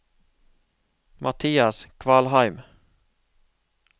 Mathias Kvalheim